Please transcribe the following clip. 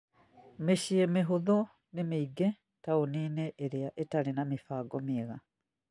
Mĩciĩ mĩhũthũ nĩ mĩingĩ taũni-inĩ iria itarĩ na mĩbango mĩega